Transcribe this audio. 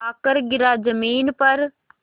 आकर गिरा ज़मीन पर